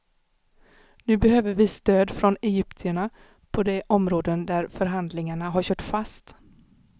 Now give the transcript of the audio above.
Nu behöver vi stöd från egyptierna på de områden där förhandlingarna har kört fast.